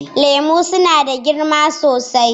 Lemu suna da girma sosai